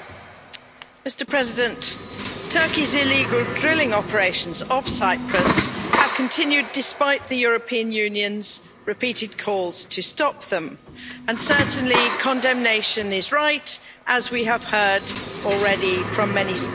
Mr President, Turkey's illegal drilling operations off Cyprus have continued despite the European Union's repeated calls to stop them. And, certainly, condemnation is right, as we have heard already from many speakers.